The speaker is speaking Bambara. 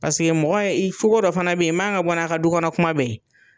Paseke mɔgɔ ye i cogo dɔ fana bɛ ye i man kan ka bɔ n'a' ka du kɔnɔ kuma bɛɛ ye.